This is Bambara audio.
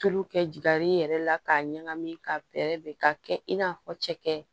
Tulu kɛ jaar'i yɛrɛ la k'a ɲagami ka bɛrɛ bɛn ka kɛ i n'a fɔ cɛkɛ